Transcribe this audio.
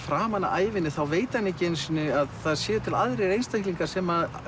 framan af ævinni veit hann ekki einu sinni að það séu til aðrir einstaklingar sem